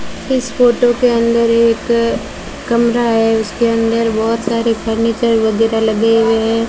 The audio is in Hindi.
इस फोटो के अंदर एक कमरा है उसके अंदर बहोत सारे फर्नीचर वगैरा लगे हुए हैं।